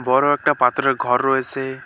বড় একটা পাথরের ঘর রয়েসে।